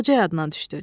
Qoca yada düşdü.